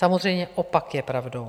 Samozřejmě opak je pravdou.